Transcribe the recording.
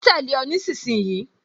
Ma tẹ̀lé o nísinsìnyí